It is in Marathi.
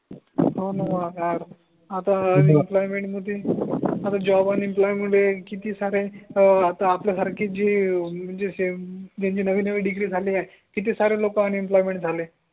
हो णा काय आता इम्प्लॉयमेंट मध्ये हो आता जॉब आणि इम्प्लॉयमेंट किती सारे आता आपल्या सारखे जे म्हणजे असे ज्यांचे नवे नवे डिग्री झाले आहे किती सारे लोक अन इम्प्लॉयमेंट झाले